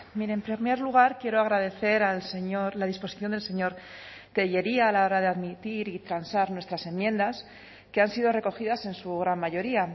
mire en primer lugar quiero agradecer al señor la disposición del señor tellería a la hora de admitir y transar nuestras enmiendas que han sido recogidas en su gran mayoría